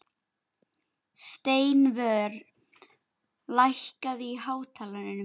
Steinvör, lækkaðu í hátalaranum.